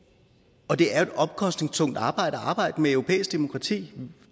det er jo et omkostningstungt arbejde at arbejde med europæisk demokrati